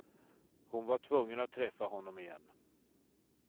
Hon var tvungen att träffa honom igen.